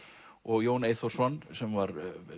og Jón Eyþórsson sem var